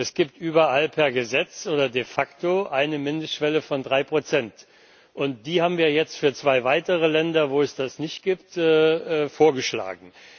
Es gibt überall per Gesetz oder de facto eine Mindestschwelle von drei Prozent, und die haben wir jetzt für zwei weitere Länder, in denen es das nicht gibt, vorgeschlagen.